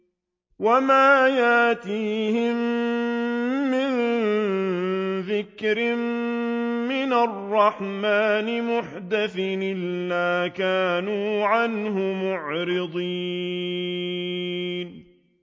وَمَا يَأْتِيهِم مِّن ذِكْرٍ مِّنَ الرَّحْمَٰنِ مُحْدَثٍ إِلَّا كَانُوا عَنْهُ مُعْرِضِينَ